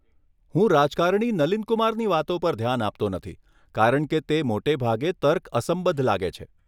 હું રાજકારણી નલિન કુમારની વાતો પર ધ્યાન આપતો નથી કારણ કે તે મોટે ભાગે તર્કઅસંબદ્ધ લાગે છે.